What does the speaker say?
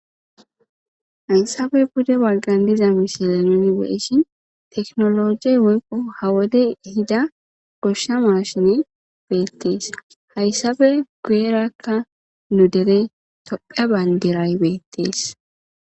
hayssabe bude walqan diza mishilanini weeshin teknologiey woykqo hawode hida goshsha mashine beettees hayssabe guyerakka nu dere tophe bayndiray beettees